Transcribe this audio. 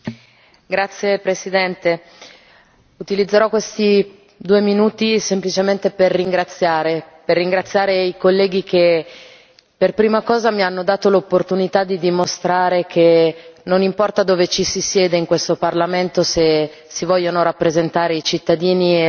Signor Presidente, onorevoli colleghi, utilizzerò questi due minuti semplicemente per ringraziare i colleghi che, per prima cosa, mi hanno dato l'opportunità di dimostrare che non importa dove ci si siede in questo Parlamento se si vogliono rappresentare i cittadini